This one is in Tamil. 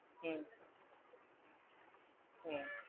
உம் உம் எங்களுக்கே